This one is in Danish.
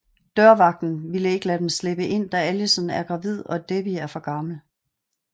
Dørvagten vil ikke lade dem slippe ind da Allison er gravid og Debbie er for gammel